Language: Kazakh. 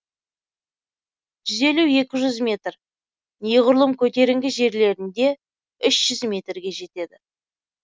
жүз елу екі жүз метр неғұрлым көтеріңкі жерлерінде үш жүз метрге жетеді